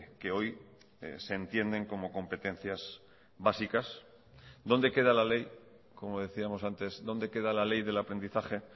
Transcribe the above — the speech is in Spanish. que hoy se entienden como competencias básicas dónde queda la ley como decíamos antes dónde queda la ley del aprendizaje